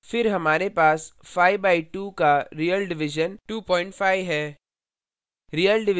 फिर हमारे पास 5 by 2 का real division 25 है